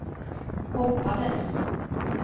hoppades